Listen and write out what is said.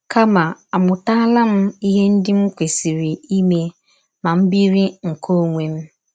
kama àmụtala m ihe ndị m kwesịrị ime ma m biri nke ọnwe m?